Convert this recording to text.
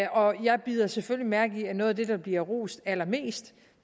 og jeg bider selvfølgelig mærke i at noget af det der bliver rost allermest